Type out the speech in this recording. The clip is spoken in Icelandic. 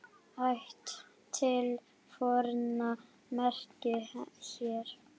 Ætt til forna merkir hér.